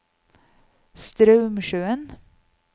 Straumsjøen